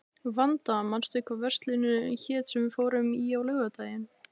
Vanda, manstu hvað verslunin hét sem við fórum í á laugardaginn?